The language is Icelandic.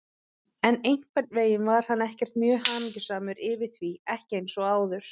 En einhvern veginn var hann ekkert mjög hamingjusamur yfir því, ekki eins og áður.